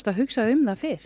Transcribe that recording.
hugsa um hann fyrr